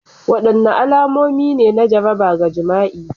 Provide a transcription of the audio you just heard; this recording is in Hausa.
Wadanne alamomi ne na jaraba ga jima'i?